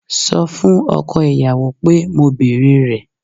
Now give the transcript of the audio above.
Sọ fún ọkọ ìyàwó pé mo bèrè rẹ̀